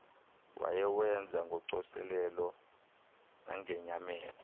wayewenza ngocoselelo nangenyameko